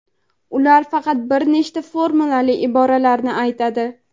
ular faqat bir nechta formulali iboralarni aytadi.